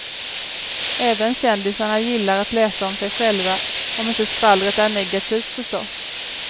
Även kändisarna gillar att läsa om sig själva, om inte skvallret är negativt förstås.